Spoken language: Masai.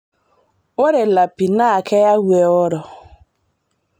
Ore lapi na keyau eoro